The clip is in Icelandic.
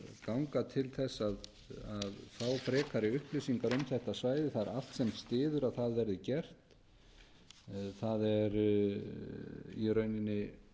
ganga til þess að fá frekari upplýsingar um þetta svæði það er allt sem styður að það verði gert það er í rauninni